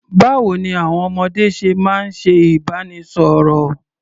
Báwo ní àwọn ọmọdé ṣe máa ń ṣe ìbánisọ̀rọ̀?